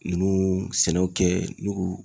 Ninnu sɛnɛw kɛ ne ko